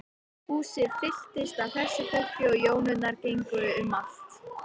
Húsið fylltist af hressu fólki og jónurnar gengu um allt.